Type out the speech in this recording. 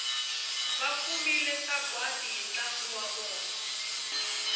vakumile sagwadi hi ntlangu wa vona